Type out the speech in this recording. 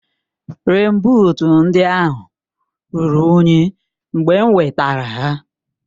Rèèn buut ndị ahụ ruru unyi mgbe m wetara ha